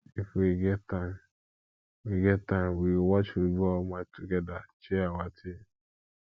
if we get time we get time we go watch football match togeda cheer our team